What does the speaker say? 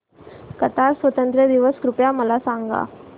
Qatar स्वातंत्र्य दिवस कृपया मला सांगा